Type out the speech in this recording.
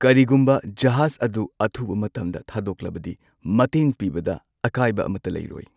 ꯀꯔꯤꯒꯨꯝꯕ ꯖꯍꯥꯖ ꯑꯗꯨ ꯑꯊꯨꯕ ꯃꯇꯝꯗ ꯊꯥꯗꯣꯛꯂꯕꯗꯤ ꯃꯇꯦꯡ ꯄꯤꯕꯗ ꯑꯀꯥꯏꯕ ꯑꯃꯠꯇ ꯂꯩꯔꯣꯏ꯫